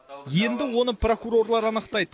енді оны прокурорлар анықтайды